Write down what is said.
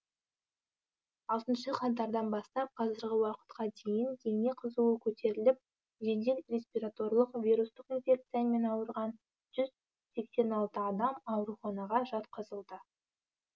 алтыншы қаңтардан бастап қазіргі уақытқа дейін дене қызуы көтеріліп жедел респираторлық вирустық инфекциямен ауырған жүз сексен алты адам ауруханаға жатқызылды